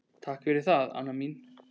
Takk fyrir það, Anna mín.